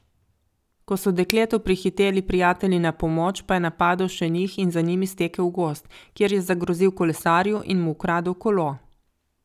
Ko so dekletu prihiteli prijatelji na pomoč, pa je napadel še njih in za njimi stekel v gozd, kjer je zagrozil kolesarju in mu ukradel kolo.